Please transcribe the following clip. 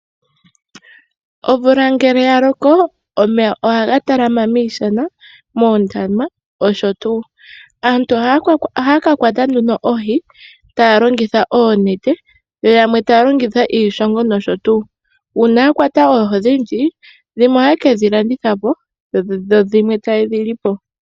Omvula ngele ya loko omeya ohaga talama miishana, moondama nosho tuu. Aantu ohaya ka kwata nduno oohi taa longitha oonete , yo yamwe taya longitha iishongo nosho tuu. Uuna ya kwata oohi odhindji dhimwe ohaye ke dhi landitha po, dho dhimwe taye dhi lipo.